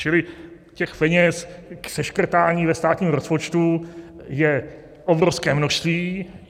Čili těch peněz k seškrtání ve státním rozpočtu je obrovské množství.